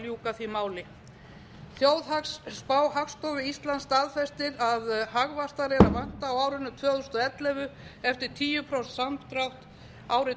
að ljúka því máli þjóðhagsspá hagstofu íslands staðfestir að hagvaxtar er að vænta á árinu tvö þúsund og ellefu eftir tíu prósent samdrátt árin